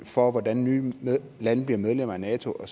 for hvordan nye lande bliver medlemmer af nato